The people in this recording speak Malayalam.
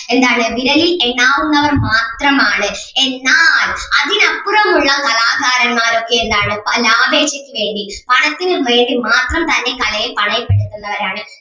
വിരലിൽ എണ്ണാവുന്നവർ മാത്രം ആണ് എന്നാൽ അതിനപ്പുറം ഉള്ള കലാകാരന്മാരൊക്കെ എന്താണ് ആവേശത്തിന് വേണ്ടി പണത്തിനും വേണ്ടി മാത്രം തന്നെ കലയെ പണയപ്പെടുത്തുന്നവരാണ്.